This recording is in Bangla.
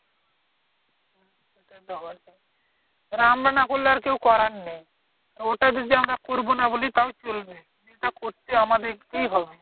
আমরা না করলে আর কেউ করার নেই। ওটা যদি আমরা করবো না বলি তাহলে চলবে? না ওটা করতে আমাদের কেই হবে।